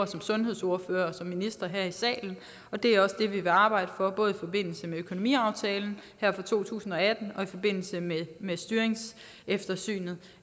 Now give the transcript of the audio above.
som sundhedsordførerne og ministeren laver her i salen og det er også det vi vil arbejde for både i forbindelse med økonomiaftalen her for to tusind og atten og i forbindelse med med styringseftersynet